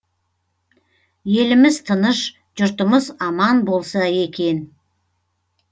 еліміз тыныш жұртымыз аман болса екен